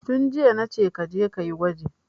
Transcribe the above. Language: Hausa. Tun jiya nace kaje kayi gwaji